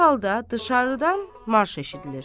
Bu halda dışarıdan marş eşidilir.